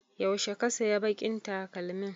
Yaushe ka saya baƙin takalmin?